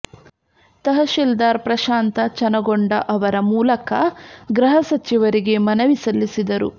ತಹಶೀಲ್ದಾರ್ ಪ್ರಶಾಂತ ಚನಗೊಂಡ ಅವರ ಮೂಲಕ ಗೃಹ ಸಚಿವರಿಗೆ ಮನವಿ ಸಲ್ಲಿಸಿದರು